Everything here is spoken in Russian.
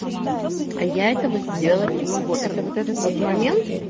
а я этого сделать не могу это вот этот вот момент